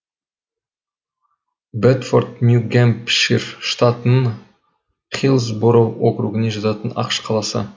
бэдфорд нью гэмпшир штатының хиллсбороу округіне жататын ақш қаласы